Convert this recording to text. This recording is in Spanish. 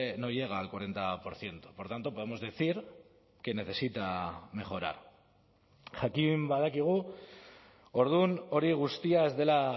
no llega al cuarenta por ciento por tanto podemos decir que necesita mejorar jakin badakigu orduan hori guztia ez dela